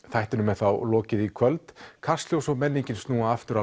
þættinum er þá lokið í kvöld Kastljós og menningin snúa aftur á